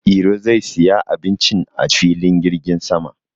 Iro zai siya abincin a filin jirgin sama.